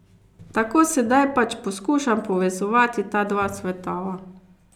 Tako sedaj pač poskušam povezovati ta dva svetova.